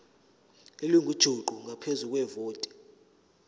elingujuqu ngaphezu kwevoti